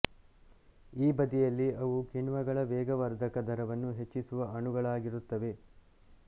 ಈ ಬದಿಯಲ್ಲಿ ಅವು ಕಿಣ್ವಗಳ ವೇಗವರ್ಧಕದ ದರವನ್ನು ಹೆಚ್ಚಿಸುವ ಅಣುಗಳಾಗಿರುತ್ತವೆ